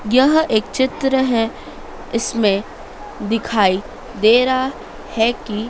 यहाँ एक चित्र है इसमें दिखाइ दे रहा है की--